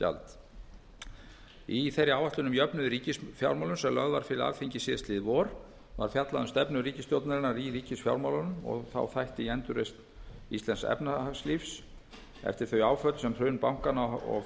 auðlindagjald í þeirri áætlun um jöfnuð í ríkisfjármálum sem lögð var fram á alþingi í lok júní síðastliðinn var fjallað um stefnu ríkisstjórnarinnar í ríkisfjármálum og þá þætti í endurreisn íslensks efnahagslífs eftir þau áföll sem hrun bankanna og